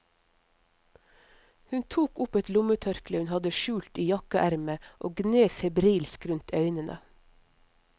Hun tok opp et lommetørkle hun hadde skjult i jakkeermet og gned febrilsk rundt øynene.